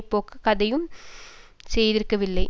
போக்க எதையும் செய்திருக்கவில்லை